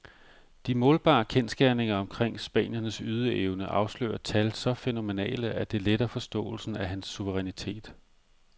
De målbare kendsgerninger omkring spanierens ydeevne afslører tal så fænomenale, at det letter forståelsen af hans suverænitet.